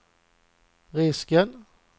risken